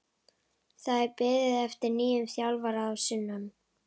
Það er beðið eftir nýjum þjálfara að sunnan.